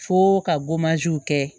Fo ka kɛ